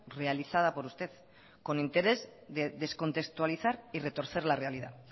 realizada por usted con interés de descontextualizar y retorcer la realidad